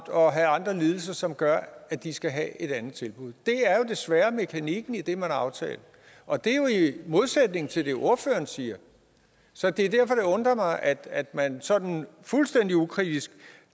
og have andre lidelser som gør at de skal have et andet tilbud det er jo desværre mekanikken i det man har aftalt og det er jo i modsætning til det ordføreren siger så det er derfor at det undrer mig at at man sådan fuldstændig ukritisk